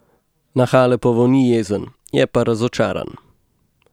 Na Halepovo ni jezen, je pa razočaran.